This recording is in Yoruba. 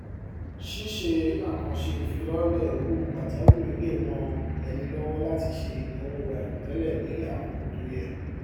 ṣíṣe àkànṣe ìfilọlẹ owó pajawìrì le ràn ẹni lọwọ láti ṣe ináwó àìròtẹlẹ ní àkókò tó yẹ